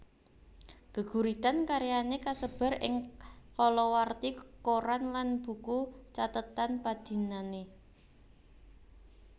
Gêguritan karyané kasêbar ing kalawarti koran lan buku cathêtan padinané